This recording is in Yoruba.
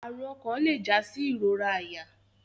Arun okan le ja si irora aya